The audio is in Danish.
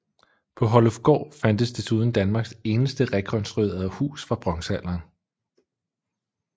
På Hollufgård fandtes desuden Danmarks eneste rekonstruerede hus fra bronzealderen